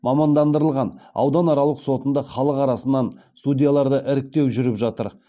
мамандандырылған ауданаралық сотында халық арасынан судьяларды іріктеу жүріп жатыр